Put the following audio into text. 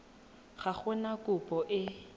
ga go na kopo e